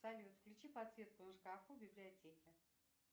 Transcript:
салют включи подсветку на шкафу в библиотеке